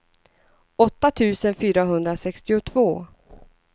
åtta tusen fyrahundrasextiotvå